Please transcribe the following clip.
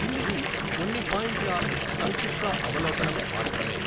కిందిది కొన్ని పాయింట్ల సంక్షిప్త అవలోకనం మాత్రమే.